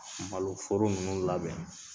malo foro nunnu labɛn.